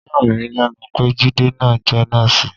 Ó yà mí lẹ́nu pé Jide náà jẹ́ nọ́ọ̀sì.